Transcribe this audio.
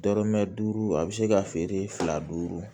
Dɔrɔmɛ duuru a bɛ se ka feere fila duuru